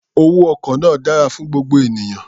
Owó ọkọ̀ náà dára fún gbogbo ènìyàn.